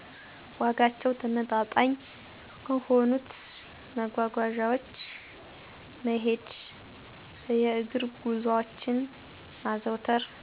ዋጋቸው ተመጣጣኝ ከሆኑት መጓጓዣወች መሄድ የእግር ጉዞወችን ማዘውተር